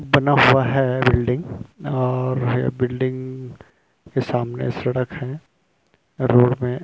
बना हुआ है बिल्डिंग और यह बिल्डिंग के सामने सड़क है रोड में --